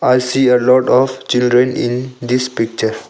I see a lot of children in this picture.